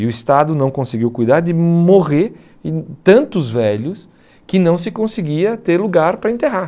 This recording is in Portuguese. E o Estado não conseguiu cuidar de morrer em tantos velhos que não se conseguia ter lugar para enterrar.